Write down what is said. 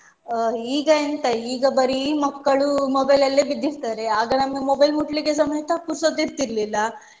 ಅಹ್ ಈಗ ಎಂತ ಈಗ ಬರೀ ಮಕ್ಕಳು mobile ಅಲ್ಲಿ ಬಿದ್ದಿರ್ತಾರೆ ಆಗ ನಮ್ಗೆ mobile ಮುಟ್ಲಿಕೆಸ ಸಮೇತ ಪುರ್ಸತ್ತಿರ್ಲಿಲ್ಲ.